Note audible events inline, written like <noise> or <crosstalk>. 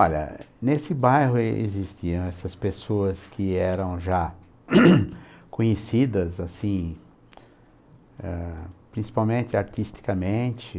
Olha, nesse bairro existiam essas pessoas que eram já <laughs> conhecidas, assim, ah, principalmente artisticamente.